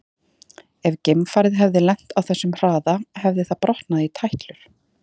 Ef geimfarið hefði lent á þessum hraða hefði það brotnað í tætlur.